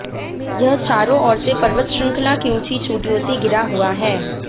यह चारों ओर से पर्वत श्रृंखला की ऊंची चोटियों से घिरा हुआ है